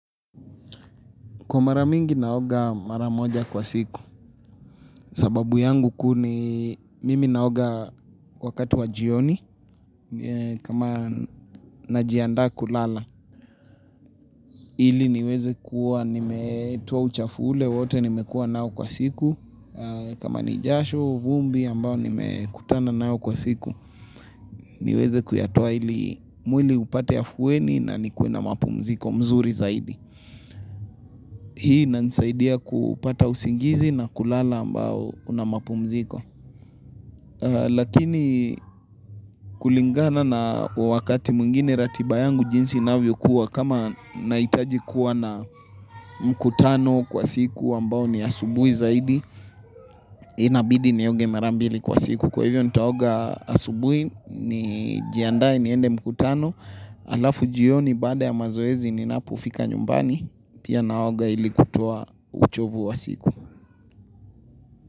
Kwa mara mingi naoga mara moja kwa siku, sababu yangu kuni mimi naoga wakati wa jioni, kama najiandaa kulala. Ili niweze kuwa, nimetoa uchafu ule, wote nimekuwa nao kwa siku, kama ni jasho, vumbi, ambao nimekutana nayo kwa siku. Niweze kuyatoa ili mwili upate afueni na nikue na mapumziko mzuri zaidi. Hii inanisaidia kupata usingizi na kulala ambao una mapumziko. Lakini kulingana na wakati mwingine ratiba yangu jinsi inavyokuwa kama naitaji kuwa na mkutano kwa siku ambao ni asubui zaidi. Inabidi nioge mara mbili kwa siku kwa hivyo nitaoga asubui nijiandae niende mkutano. Alafu jioni baada ya mazoezi ninapofika nyumbani. Pia naoga ili kutoa uchovu wa siku.